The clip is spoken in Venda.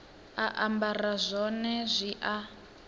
a ambara zwone zwi a